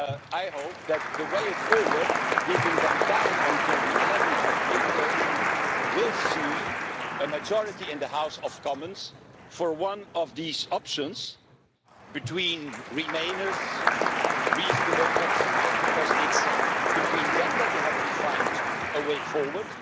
I hope that the way forward, giving them time until 11 April, will see a majority in the House of Commons for one of these options between remainers and reasonable Brexiteers, because it's between them that they have to find a way forward.